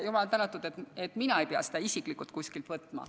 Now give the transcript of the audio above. Jumal tänatud, et mina isiklikult ei pea seda kuskilt võtma.